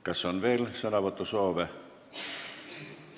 Kas on veel sõnavõtusoove?